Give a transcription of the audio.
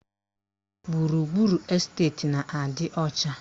Gburugburu esteti na-adị ọcha